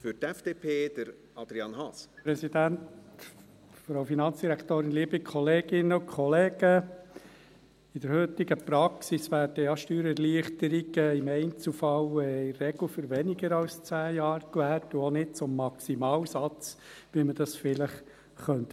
In der heutigen Praxis werden ja auch im Einzelfall Steuererleichterungen in der Regel für weniger als 10 Jahre gewährt und auch nicht zum Maximalsatz, wie man dies vielleicht meinen könnte.